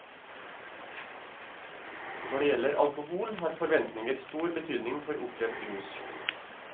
Når det gjelder alkohol, har forventninger stor betydning for opplevd rus.